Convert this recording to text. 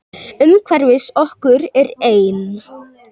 Umhverfis okkur er ein